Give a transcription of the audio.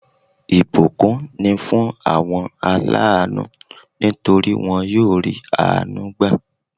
Ìbùkún ni fún àwọn aláànú nítorí won yóò rí àánú gbà